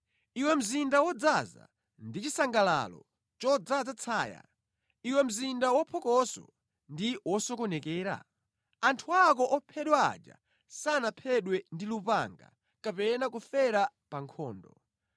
Iwe mzinda wodzaza ndi chisangalalo chodzaza tsaya, iwe mzinda waphokoso ndi wosokonekera? Anthu ako ophedwa aja sanaphedwe ndi lupanga, kapena kufera pa nkhondo.